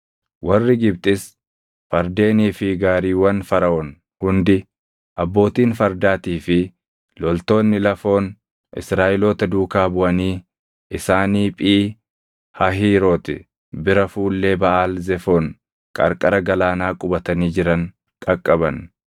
Warri Gibxis fardeenii fi gaariiwwan Faraʼoon hundi, abbootiin fardaatii fi loltoonni lafoon Israaʼeloota duukaa buʼanii isaanii Phii Hahiiroti bira fuullee Baʼaal Zefoon qarqara galaanaa qubatanii jiran qaqqaban.